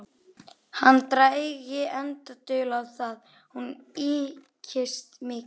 Hann drægi enga dul á það: hún ykist mikið.